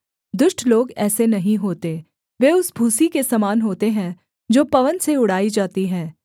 दुष्ट लोग ऐसे नहीं होते वे उस भूसी के समान होते हैं जो पवन से उड़ाई जाती है